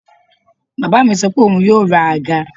Bàbá mi sọ pé òun yóò ra àga